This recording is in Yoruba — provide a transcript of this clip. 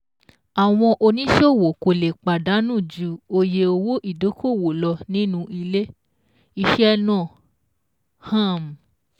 Àwọn Oníṣòwò kò lè pàdánù ju oye owó ìdókòwò lọ nínú ilé-iṣẹ̀ náà. um